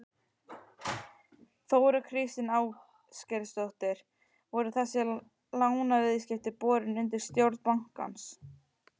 Þóra Kristín Ásgeirsdóttir: Voru þessi lánaviðskipti borin undir stjórn bankans?